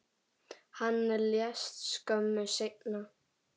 Hann lést skömmu seinna.